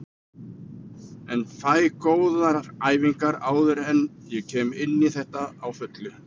En fæ góðar æfingar áður en ég kem inní þetta á fullu.